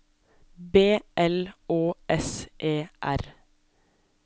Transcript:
B L Å S E R